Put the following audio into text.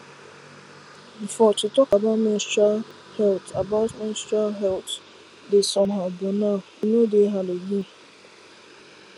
before to talk about menstrual health about menstrual health dey somehow but now e no dey hard again